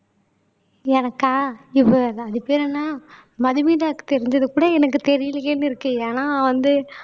எனக்கா இவ்வளவுதான் அதுக்கு பேர் என்ன மதுமிதாக்கு தெரிஞ்சது கூட எனக்கு தெரியலையேன்னு இருக்கு ஏன்னா வந்து